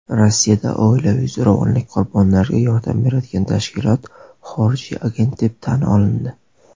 Rossiyada oilaviy zo‘ravonlik qurbonlariga yordam beradigan tashkilot "xorijiy agent" deb tan olindi.